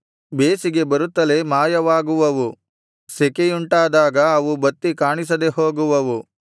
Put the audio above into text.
ಬೇಸಿಗೆ ಬರುತ್ತಲೇ ಮಾಯವಾಗುವವು ಸೆಕೆಯುಂಟಾದಾಗ ಅವು ಬತ್ತಿ ಕಾಣಿಸದೆ ಹೋಗುವವು